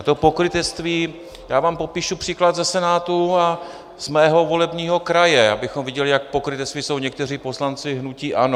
A to pokrytectví - já vám popíšu příklad ze Senátu a z mého volebního kraje, abychom viděli, jak pokrytečtí jsou někteří poslanci hnutí ANO.